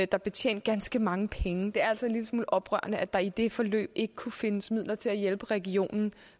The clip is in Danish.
der blev tjent danske mange penge det er altså en lille smule oprørende at der i det forløb ikke kunne findes midler til at hjælpe regionen